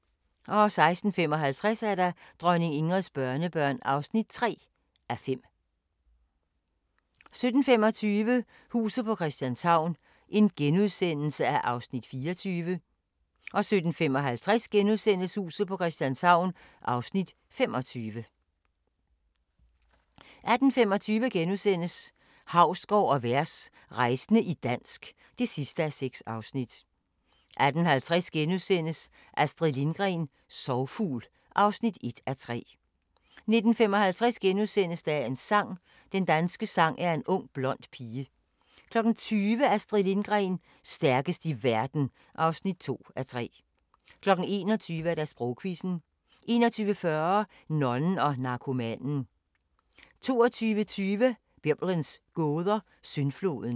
16:55: Dronning Ingrids børnebørn (3:5) 17:25: Huset på Christianshavn (24:84)* 17:55: Huset på Christianshavn (25:84)* 18:25: Hausgaard & Vers – rejsende i dansk (6:6)* 18:50: Astrid Lindgren – Sorgfugl (1:3)* 19:55: Dagens sang: Den danske sang er en ung blond pige * 20:00: Astrid Lindgren – stærkest i verden (2:3) 21:00: Sprogquizzen 21:40: Nonnen og narkomanen 22:20: Biblens gåder – Syndfloden